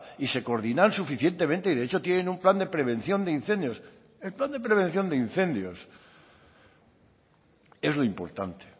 y se coordinan suficientemente y de hecho tienen un plan de prevención de incendios el plan de prevención de incendios es lo importante